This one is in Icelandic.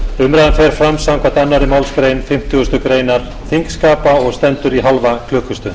umræðan fer fram samkvæmt annarri málsgrein fimmtugustu grein þingskapa og stendur í hálfa klukkustund